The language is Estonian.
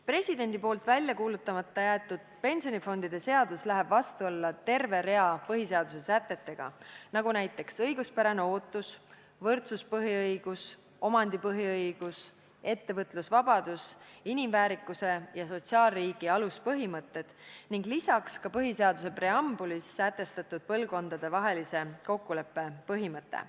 Presidendi poolt välja kuulutamata jäetud pensionifondide seadus läheb vastuollu terve rea põhiseaduse sätetega, nagu näiteks õiguspärane ootus, võrdsuspõhiõigus, omandipõhiõigus, ettevõtlusvabadus, inimväärikuse ja sotsiaalriigi aluspõhimõtted ning lisaks ka põhiseaduse preambulis sätestatud põlvkondadevahelise kokkuleppe põhimõte.